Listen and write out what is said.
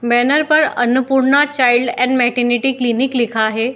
Banner पर Annapurna child and maternity clinic लिखा है।